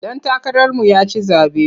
Ɗan takararmu ya ci zaɓe.